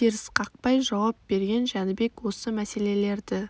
терісқақпай жауап берген жәнібек осы мәселелерді